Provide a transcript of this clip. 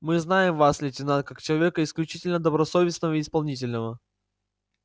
мы знаем вас лейтенант как человека исключительно добросовестного и исполнительного